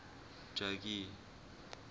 jogee